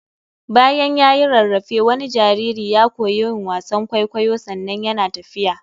Bayan ya yi rarrafe wani jariri ya koyi yin wasan kwaikwayo sannan yana tafiya.